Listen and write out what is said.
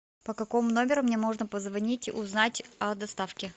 по какому номеру мне можно позвонить узнать о доставке